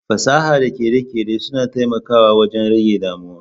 Fasaha da kere-kere suna taimakawa wajen rage damuwa